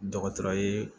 Dɔgɔtɔrɔ ye